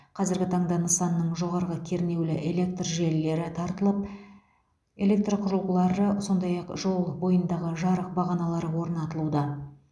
қазіргі таңда нысанның жоғарғы кернеулі электр желілері тартылып электр құрылғылары сондай ақ жол бойындағы жарық бағаналары орнатылуда